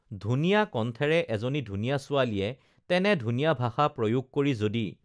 ধুনীয়া কণ্ঠেৰে এজনী ধুনীয়া ছোৱালীয়ে তেনে ধুনীয়া ভাষা প্ৰয়োগ কৰি যদি